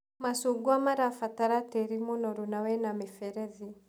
Macungwa marabatara tĩri mũnoru na wĩna mĩberethi.